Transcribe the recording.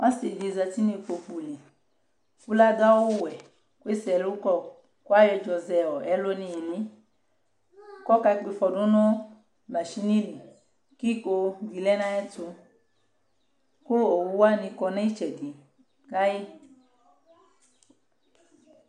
ɔsɩdɩ zatɩ nʊ ikpokʊlɩ kʊ ladʊ awʊwɛ kʊ ese ɛlʊkɔ kʊ ayɔ ɛdzɔzɛ ɛlʊ nʊ ɩlɩ kʊ akakpɔb ɩfɔ dʊnʊ machɩnɩlɩ kʊ ɩkodɩ lɛnʊ ayʊ ɛtʊ kʊ owʊwanɩ kɔ nʊ ɩtsɛdɩ kayɩ